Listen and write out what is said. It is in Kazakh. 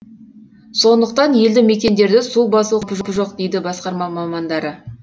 сондықтан елді мекендерді су басу қаупі жоқ дейді басқарма мамандары